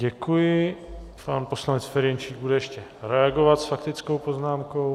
Děkuji, pan poslanec Ferjenčík bude ještě reagovat s faktickou poznámkou.